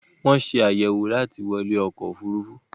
wón ṣe àyẹ̀wò láti wọlé ọkọ ofurufu.